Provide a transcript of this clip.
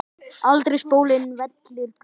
aldrei spóinn vellir graut.